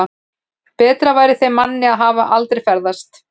Betra væri þeim manni að hafa aldrei fæðst.